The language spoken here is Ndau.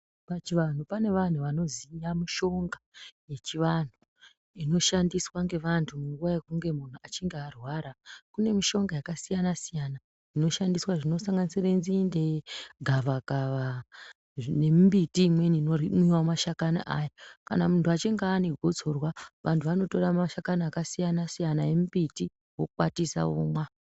Pachivanhu pane vanhu vanoziya mishonga yechivanhu inoshandiswa ngevantu munguva yekunge munhu echinge arwara . Kune mishonga yakasiyana siyana inoshandiswa zvinosanganisire nzinde ,gavakava nembiti imweni inomwiwa mashakani ayo kana muntu achinge ane gotsorwa vantu vanotora mashakani akasiyana siyana embiti vokwatisa vomwa.